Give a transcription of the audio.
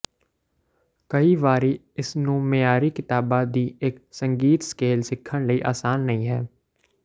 ਕਈ ਵਾਰੀ ਇਸ ਨੂੰ ਮਿਆਰੀ ਕਿਤਾਬਾ ਦੀ ਇੱਕ ਸੰਗੀਤ ਸਕੇਲ ਸਿੱਖਣ ਲਈ ਆਸਾਨ ਨਹੀ ਹੈ